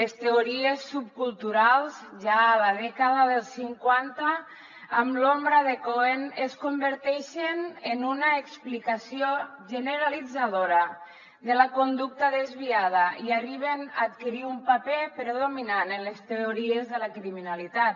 les teories subculturals ja a la dècada dels cinquanta amb l’obra de cohen es converteixen en una explicació generalitzadora de la conducta desviada i arriben a adquirir un paper predominant en les teories de la criminalitat